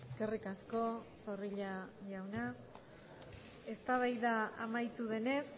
eskerrik asko zorrilla jauna eztabaida amaitu denez